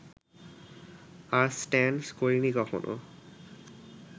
আর stunts করিনি কখনো!